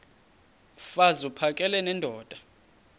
mfaz uphakele nendoda